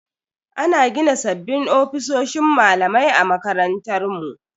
Ana gina sabbin ofisoshin malamai a makarantar mu.